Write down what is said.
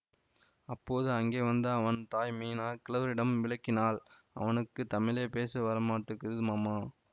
அப்போது அங்கே வந்த அவன் தாய் மீனா கிழவரிடம் விளக்கினாள் அவனுக்கு தமிழே பேச வரமாட்டக்குது மாமா